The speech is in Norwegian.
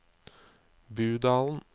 Budalen